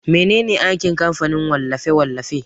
Mene ne aikin kamfanin wallafe-wallafe?